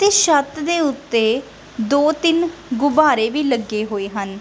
ਇਸ ਛੱਤ ਦੇ ਉੱਤੇ ਦੋ ਤਿੰਨ ਗੁਬਾਰੇ ਵੀ ਲੱਗੇ ਹੋਏ ਹਨ।